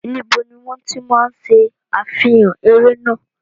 Níbo ni wọ́n ti máa ń ṣe àfihàn eré náà?